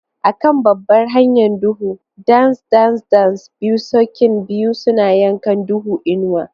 A kan babbar hanyar duhu, dance dance dance, biyu sokin biyu suna yankan duhu, inuwa.